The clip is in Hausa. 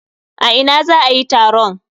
A ina za a yi taron?